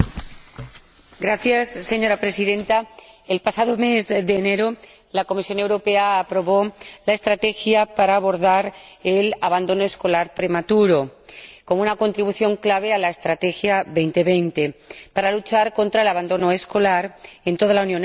Señora Presidenta, el pasado mes de enero, la Comisión Europea aprobó la estrategia para abordar el abandono escolar prematuro, como una contribución clave a la Estrategia Europa 2020, para luchar contra el abandono escolar en toda la Unión Europea y reducir